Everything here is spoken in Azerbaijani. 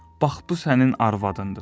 Bax bu sənin arvadındır.